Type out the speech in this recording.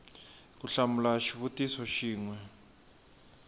ku hlamula xivutiso xin we